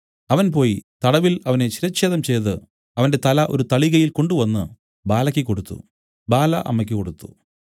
അവൻ പോയി തടവിൽ അവനെ ശിരച്ഛേദം ചെയ്തു അവന്റെ തല ഒരു തളികയിൽ കൊണ്ടുവന്നു ബാലയ്ക്കു് കൊടുത്തു ബാല അമ്മയ്ക്ക് കൊടുത്തു